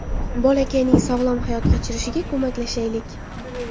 Bolakayning sog‘lom hayot kechirishiga ko‘maklashaylik.